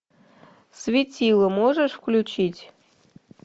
светило можешь включить